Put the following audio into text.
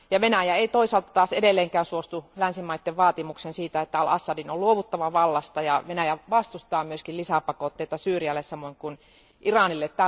Venäjä ei toisaalta taas edelleenkään suostu länsimaiden vaatimukseen siitä, että al Assadin on luovuttava vallasta, ja Venäjä vastustaa myös lisäpakotteita Syyrialle samoin kuin Iranille.